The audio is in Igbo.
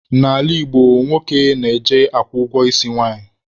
N'ala Igbo, nwoke na-eje akwụ ụgwọ isi nwanyị.